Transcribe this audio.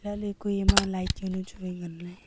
chatley kue ema light jawnu chu wai nganley.